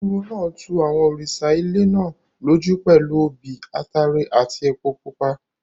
Olúwo náà tu àwọn òrìṣà ilẹ̀ náà lójú pẹ̀lú obì, ataare àti epo pupa.